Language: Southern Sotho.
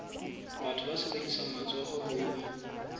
batho ba sebedisang matsoho ho